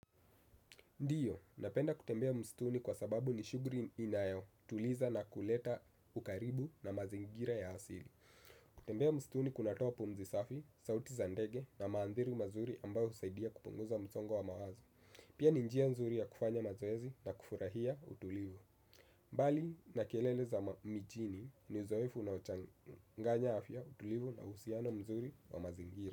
Ndiyo, napenda kutembea msituni kwa sababu ni shughuli inayo tuliza na kuleta ukaribu na mazingira ya asili. Kutembea msituni kunatoa pumzi safi, sauti za ndege na manzari mazuri ambayo husaidia kupunguza msongo wa mawazo. Pia ni njia nzuri ya kufanya mazoezi na kufurahia utulivu. Mbali na kelele za mijini ni uzoefu nao changanya afya utulivu na uhusiano mzuri wa mazingira.